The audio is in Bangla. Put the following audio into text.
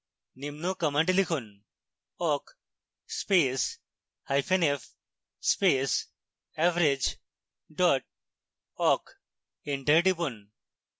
নিম্ন command লিখুনawk space hyphen f space average dot awk enter টিপুন